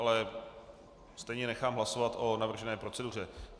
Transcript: Ale stejně nechám hlasovat o navržené proceduře.